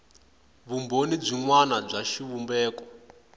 vumbhoni byin wana bya xivumbeko